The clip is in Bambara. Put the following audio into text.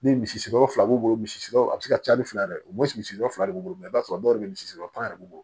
Ni misikɛ fila b'u bolo misiriw a bi se ka caya ni fila ye dɛ o misiri yɔrɔ de b'i bolo i b'a sɔrɔ dɔw be misi yɔrɔ b'u bolo